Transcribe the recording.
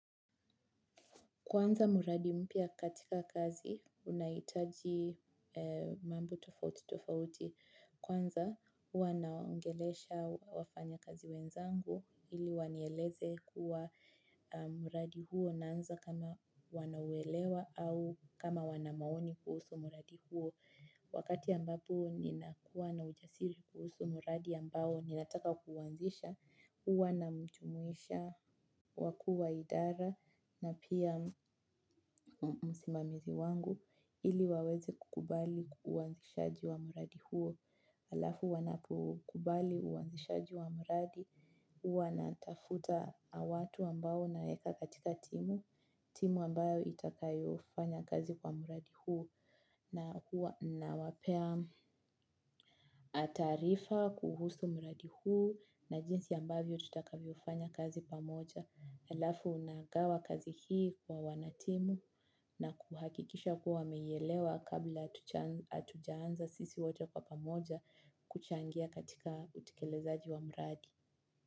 Kwanza mradi mpya katika kazi unahitaji mambo tofauti tofauti kwanza huwa naongelesha wafanyakazi wenzangu ili wanieleze kuwa mradi huo unanza kama wanaielewa au kama wanamaoni kuhusu mradi huo. Wakati ambapo ninakuwa na ujasiri kuhusu mradi ambao ninataka kuuanzisha huwa nawamjumuisha wakuu wa idara na pia msimamizi wangu ili waweze kukubali uanzishaji wa mradi huo alafu wanapo kubali uanzishaji wa mradi huwa natafuta watu ambao naweka katika timu, timu ambao itakayofanya kazi kwa mradi huo na huwa na wapa na taarifa kuhusu mradi huo na jinsi ambavyo tutakavyofanya kazi pamoja alafu unagawanya kazi hii kwa wanatimu na kuhakikisha kuwa wameielewa kabla hatujaanza sisi wote kwa pamoja kuchangia katika utekelezaji wa mradi.